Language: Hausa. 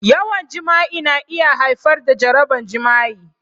Yawan jima'i na iya haifar da jaraban jima'i.